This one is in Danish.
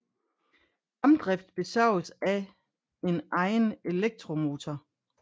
Fremdrift besørges af en egen elektromotor